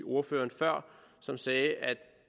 ordføreren før som sagde at